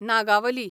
Nagavali